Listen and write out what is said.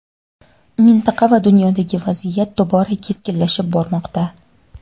mintaqa va dunyodagi vaziyat tobora keskinlashib bormoqda.